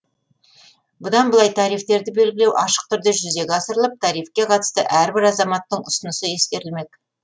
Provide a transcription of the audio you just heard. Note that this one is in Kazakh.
бұдан былай тарифтерді белгілеу ашық түрде жүзеге асырылып тарифке қатысты әрбір азаматтың ұсынысы ескерілмек